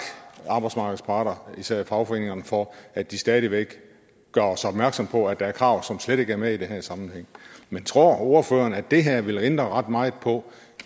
arbejdsmarkedets parter især fagforeningerne for at de stadig væk gør os opmærksomme på at der er krav som slet ikke er med i den her sammenhæng men tror ordføreren at det her vil ændre ret meget på